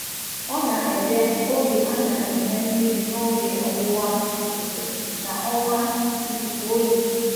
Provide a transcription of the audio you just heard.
Ọ na-ede oge a na-eme mmiri n’oge Ọwụwa Ifufe na ọnwa ikuku oyi.